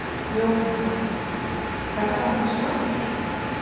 Jóhanna: Herramannsmatur?